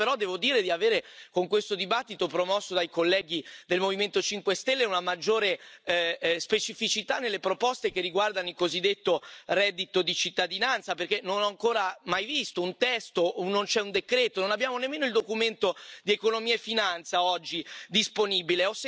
Speravo, però, devo dire di avere con questo dibattito promosso dai colleghi del Movimento 5 Stelle una maggiore specificità nelle proposte che riguardano il cosiddetto reddito di cittadinanza, perché non ho ancora mai visto un testo, non c'è un decreto, non abbiamo nemmeno il documento di economia e finanza, oggi, disponibile.